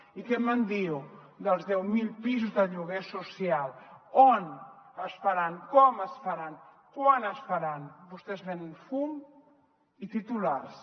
i què me’n diu dels deu mil pisos de lloguer social on es faran com es faran quan es faran vostès venen fum i titulars